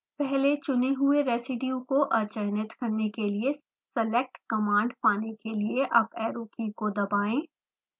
पहले चुने हुए residue को अचयनित करने के लिए select command पाने के लिए अप एरो की को दबाएँ